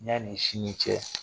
Ɲani sini cɛ.